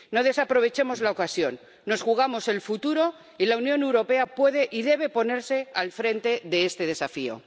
No desaprovechemos la ocasión nos jugamos el futuro, y la Unión Europea puede y debe ponerse al frente de este desafío.